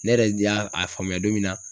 Ne yɛrɛ de y'a a faamuya don min na